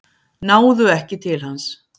Náðu ekki til hans